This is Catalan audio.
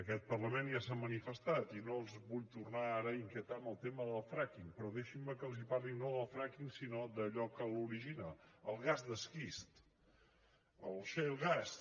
aquest parlament ja s’hi ha manifestat i no els vull tornar ara a inquietar amb el tema del fracking però deixin me que els parli no del fracking sinó d’allò que l’origina el gas d’esquist el shale gas